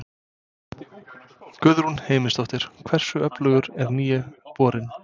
Guðrún Heimisdóttir: Hversu öflugur er nýi borinn?